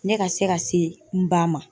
Ne ka se ka se n ba ma.